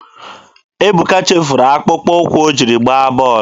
Ebuka chefuru akpụkpọ ụkwụ o jiri gbaa bọọlụ.